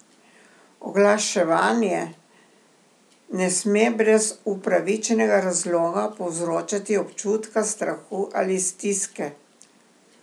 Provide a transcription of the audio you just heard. Oglaševanje ne sme brez upravičenega razloga povzročati občutka strahu ali stiske.